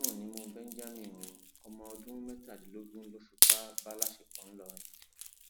ẹwọn ń rùn nímú benjamin o ọmọ ọdún mẹtàdínlógún ló fipá bá láṣepọ ńlórìn